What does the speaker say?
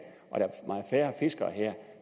fiskere